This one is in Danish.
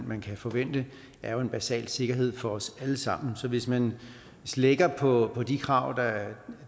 man kan forvente er jo en basal sikkerhed for os alle sammen så hvis man slækker på de krav